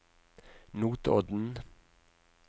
Notodden